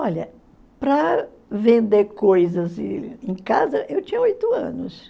Olha, para vender coisas em casa, eu tinha oito anos.